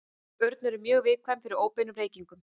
Börn eru mjög viðkvæm fyrir óbeinum reykingum.